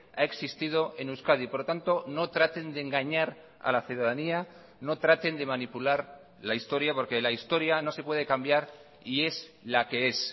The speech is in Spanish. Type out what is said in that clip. ha existido en euskadi por lo tanto no traten de engañar a la ciudadanía no traten de manipular la historia porque la historia no se puede cambiar y es la que es